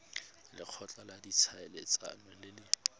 lekgotla la ditlhaeletsano le le